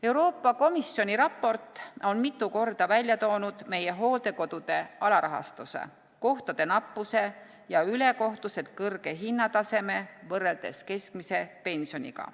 Euroopa Komisjoni raport on mitu korda välja toonud meie hooldekodude alarahastuse, kohtade nappuse ja ülekohtuselt kõrge hinnataseme võrreldes keskmise pensioniga.